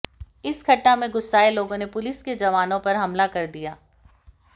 इस घटना से गुस्साए लोगों ने पुलिस के जवानों पर हमला कर दिया